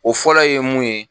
O fɔlɔ ye mun ye